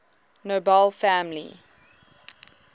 nobel family